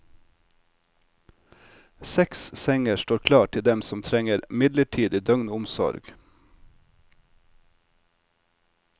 Seks senger står klar til dem som trenger midlertidig døgnomsorg.